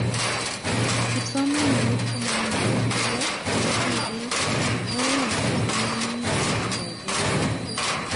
Kipsomanink chemaimugikee cheu, tibik, mweik, kipsomanink chetindoi keleutik